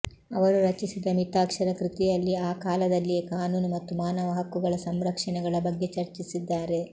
ಅವರು ರಚಿಸಿದ ಮಿತಾಕ್ಷರ ಕೃತಿಯಲ್ಲಿ ಆ ಕಾಲದಲ್ಲಿಯೇ ಕಾನೂನು ಮತ್ತು ಮಾನವ ಹಕ್ಕುಗಳ ಸಂರಕ್ಷಣೆಗಳ ಬಗ್ಗೆ ಚರ್ಚಿಸಿದ್ದಾರೆ